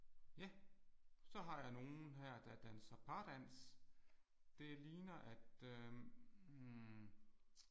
Ja. Så har jeg nogle her der danser pardans. Det ligner at øh hm